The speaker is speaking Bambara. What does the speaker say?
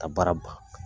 Ka baara ban